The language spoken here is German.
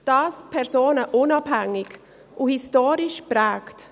Dies personenunabhängig und historisch geprägt.